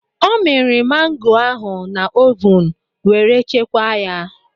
Ọ mịrị mangoo ahụ na ovun were chekwaa ya.